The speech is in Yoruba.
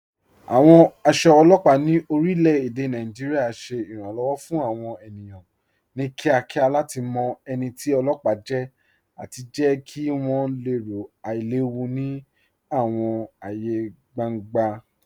Awọn aṣọ ọlọpa ni orilẹ̀-èdè Nàìjíríà ṣẹ iranlọ́wọ fun awọn ènìyàn ni kíakíá lati mọ ẹni tì ọlọpa jẹ̀ àti jẹ̀ kí wọn lẹ̀rò ailẹ̀wù ni awọn ààyè gbàŋgbà.